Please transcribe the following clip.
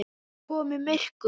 Það var komið myrkur.